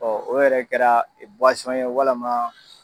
Ɔ o yɛrɛ kɛra ye walama.